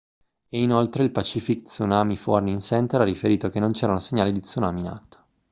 e inoltre il pacific tsunami warning center ha riferito che non c'erano segnali di tsunami in atto